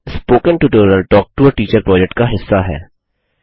spoken tutorial talk to a teacher project का हिस्सा है